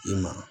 I ma